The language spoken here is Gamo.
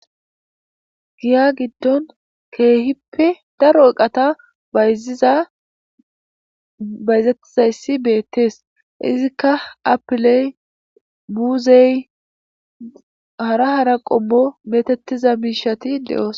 Giya gidoni kehippe darro eqata bayizi, bayizatethayi bettesi. Ikka ayiple muzeyi hara hara qomo kochati deyosona.